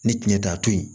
Ni tiɲɛ de y'a to yen